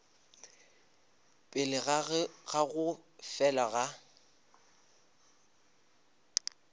pele ga go fela ga